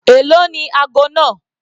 Èló ni ago náà?